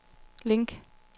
link